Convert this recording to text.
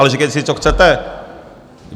Ale říkejte si, co chcete.